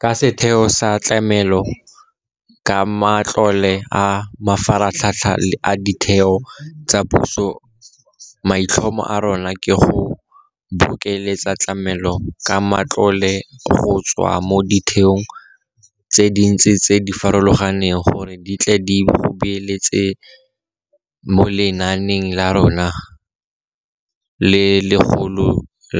Ka setheo sa Tlamelo ka Matlole a Mafaratlhatlha a Ditheo tsa Puso maitlhomo a rona ke go bokeletsa tlamelo ka matlole go tswa mo ditheong tse dintsi tse di farologaneng gore di tle go beeletsa mo lenaaneng la rona le legolo